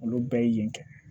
Olu bɛɛ ye yen kɛ